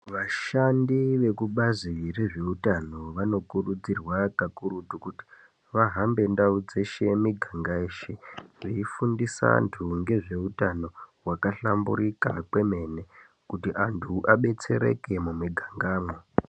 Vashandi vekubazi rezvehutano, vanokurudzirwa kakurutu kuti vahambe ndau dzeshe, miganga yeshe veyifundisa antu ngezvehutano wakahlamburika kwemene, kuti antu abetsereke mumiganga mo.